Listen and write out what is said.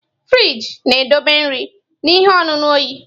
Frịjị na-edobe nri na ihe ọṅụṅụ oyi.